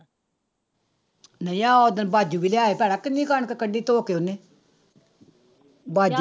ਨਹੀਂ ਆਹ ਓਦਣ ਬਾਜੂ ਵੀ ਲਿਆਇਆ ਸੀ ਭੈਣਾ ਕਿੰਨੀ ਕਣਕ ਕੱਢੀ ਧੋ ਕੇ ਉਹਨੇ ਬਾਜੂ